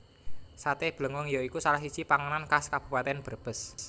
Saté Blengong ya iku salah siji panganan khas Kabupatèn Brebes